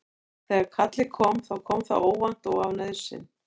Þegar kallið kom þá kom það óvænt og af nauðsyn.